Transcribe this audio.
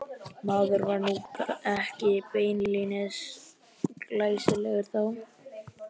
Maður var nú ekki beinlínis glæsilegur þá.